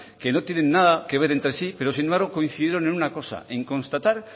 que no tienen nada que ver entre sí pero sin embargo coincidieron en una cosa en constatar